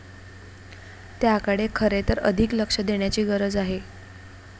त्याकडे खरे तर अधिक लक्ष देण्याची गरज आहे.